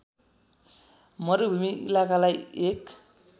मरुभूमि इलाकालाई एक